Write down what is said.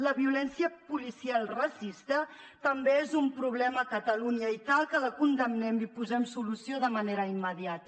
la violència policial racista també és un problema a catalunya i cal que la condemnem i hi posem solució de manera immediata